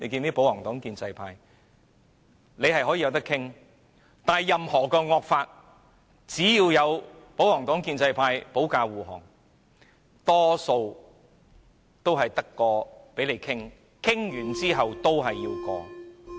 雖然法案可以討論，但任何惡法只要得到保皇黨及建制派的保駕護航，大多數也是只有討論，討論完後仍然要通過。